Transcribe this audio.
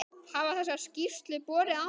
Hafa þessar skýrslur borið árangur?